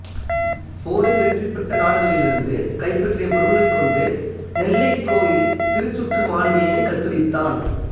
போரில் வெற்றி பெற்ற நாடுகளிலிருந்து கைப்பற்றிய பொருள்களைக் கொண்டு நெல்லைக் கோயில் திருச்சுற்று மாளிகையினை கட்டுவித்தான்